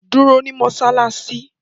Duro ni Mossalassi